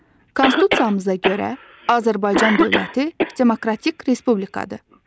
Konstitusiyamıza görə, Azərbaycan dövləti demokratik respublikadır.